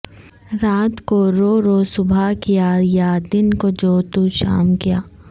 رات کو رو رو صبح کیا یا دن کو جوں توں شام کیا